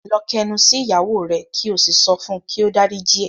Lọ k'ẹnu sí ìyàwó rẹ ki o sí sọfún ki o d'áríjì ẹ!